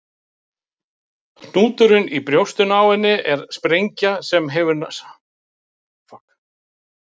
Hnúturinn í brjóstinu á henni er sprengja sem hefur sáð öðrum sprengjum útum líkamann.